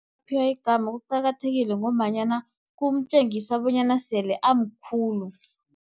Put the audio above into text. Uphiwa igama kuqakathekile, ngombanyana kumtjengisa bonyana sele amkhulu.